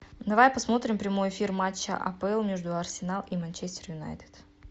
давай посмотрим прямой эфир матча апл между арсенал и манчестер юнайтед